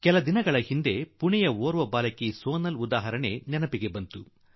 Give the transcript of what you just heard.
ಕೆಲವು ದಿನಗಳ ಹಿಂದೆ ನನಗೆ ಪುಣೆಯ ಒಬ್ಬ ಮಗಳು ಸೋನಾಲ್ ಳ ಒಂದು ಉದಾಹರಣೆ ನನ್ನ ಗಮನಕ್ಕೆ ಬಂತು